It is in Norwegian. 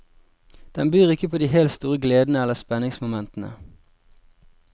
Den byr ikke på de helt store gledene eller spenningsmomentene.